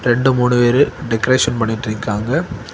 ரெண்டு மூணு பேரு டெக்கரேஷன் பண்ணிட்டிருக்காங்க.